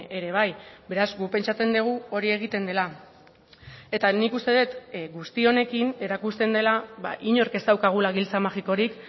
ere bai beraz guk pentsatzen dugu hori egiten dela eta nik uste dut guzti honekin erakusten dela inork ez daukagula giltza magikorik